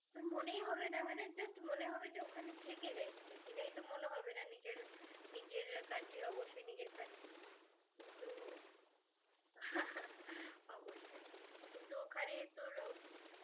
ওখানে থেকে যায়, থেকে যায় তো মনে হবে না. নিজের, নিজের country অবশ্যই নিজের country